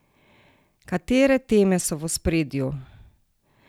Katere teme so v ospredju?